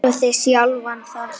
Tónlist er lífið!